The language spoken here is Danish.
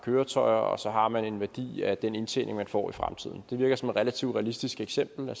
køretøjer og så har man en værdi af den indtjening man får i fremtiden det virker som et relativt realistisk eksempel at